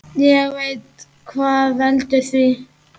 Ég veit hvað veldur því.